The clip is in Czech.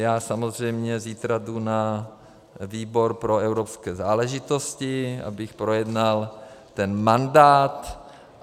Já samozřejmě zítra jdu na výbor pro evropské záležitosti, abych projednal ten mandát.